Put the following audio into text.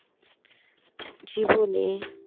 জীবনে